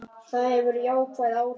Það hefur jákvæð áhrif.